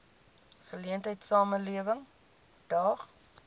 geleentheid samelewing daag